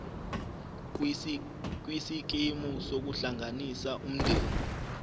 kwisikimu sokuhlanganisa umndeni